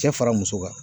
Cɛ fara muso kan